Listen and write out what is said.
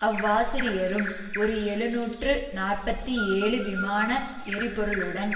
அவ்வாசிரியரும் ஒரு எழுநூற்று நாற்பத்தி ஏழு விமான எரிபொருளுடன்